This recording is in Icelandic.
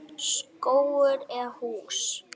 Skógur eða hús?